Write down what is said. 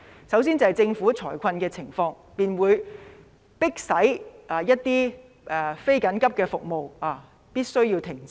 首先是政府會出現財困，便迫使一些非緊急的服務必須停止。